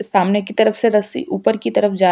सामने की तरफ से रस्सी ऊपर की तरफ जा --